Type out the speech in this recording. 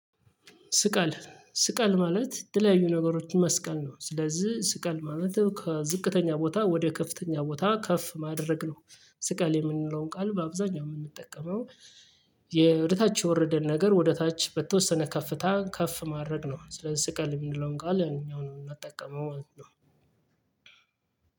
ስቀል ስቀል ማለት የተለያዩ ነገሮችን መስቀል ነው ስለዚህ ስቀል ማለት ከዝቅተኛ ቦታ ወደ ከፍተኛ ቦታ ከፍ ማድረግ ነው። ስቀል የምንለውን ቃል በአብዛኛው የምንጠቀመው። የወደታች የወረደን ነገር ወደታች በተወሰነ ከፍታ ከፍ ማድረግ ነው ስለዚህ ስቀል የምንለውን ቃል እኛው ነው የምንጠቀመው ማለት ነው።